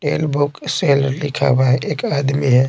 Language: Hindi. सेल बुक सेल लिखा हुआ है एक आदमी है।